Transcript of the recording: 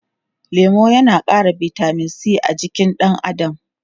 Lemu yana ƙara bitamin c a jikin ɗan adam.